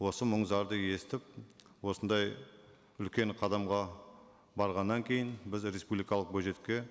осы мұң зарды естіп осындай үлкен қадамға барғаннан кейін біз республикалық бюджетке